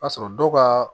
B'a sɔrɔ dɔw ka